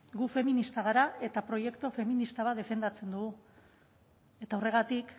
gu feministak gara eta proiektu feminista bat defendatzen dugu eta horregatik